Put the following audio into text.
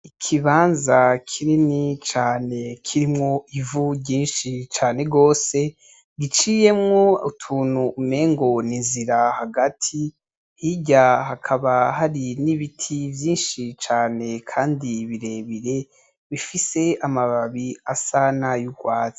Ikibanza kinini cane kirimwo ivu ryinshi cane gose, giciyemwo utuntu umengo n'inzira hagati, hirya hakaba hari n'ibiti vyinshi cane kandi birebire bifise amababi asa n'ayugwatsi.